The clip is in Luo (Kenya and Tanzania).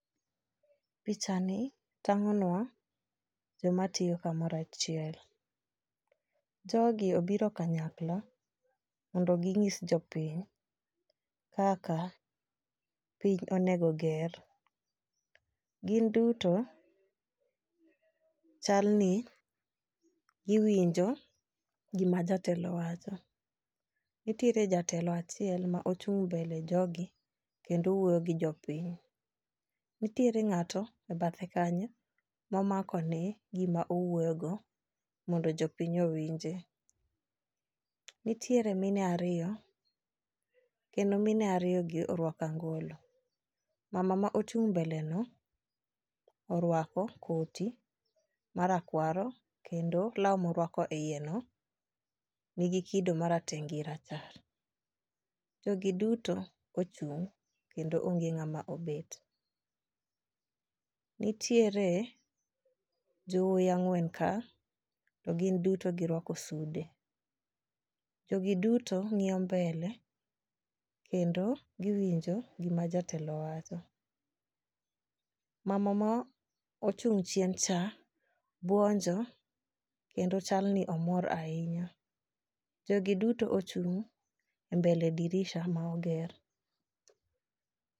Picha ni tang'o nwa joma tiyo kamora chiel . Jogi obiro kanyakla mondo ging'is jopiny kaka piny onego ger. Gin duto chal ni giwinjo gima jatelo wacho. Nitiere jatelo achiel ma ochung' mbele jogi kendo wuoyo gi jopiny. Nitiere ng'ato e bathe kanyo ma omako ne gima owuoyo go mondo jopiny owinje . Nitiere mine ariyo kendo mien ariyo gi orwako angolo. Mama ma ochung' mbele no orwako koti marakwaro kendo law morwako e iye no nigi kido marateng' gi rachar. Jogi duto ochung' kendo onge ng'ama obet. Nitiere jowuoyi ang'wen ka to gin duto girwako sude. Jogi duto ng'iyo mbele kendo giwinjo gima jatelo wacho . Mama mochung' chien cha buonjo kendo chal ni omor ahinya. Jogi duto ochung' e mbele dirisa ma oger.